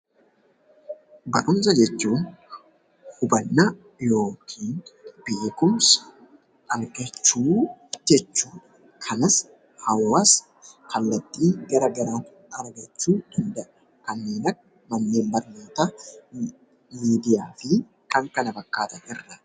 Barumsa jechuun hubannaa yookiin beekumsa argachuu jechuudha. Kanas hawaasni kallattii gara garaan argachuu danda'a. Kanneen akka Manneen Barnootaa, Miidiyaa fi kan kana fakkaatan irraa.